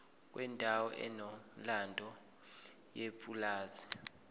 kwendawo enomlando yepulazi